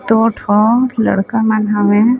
दो ठो लड़का मन हावय।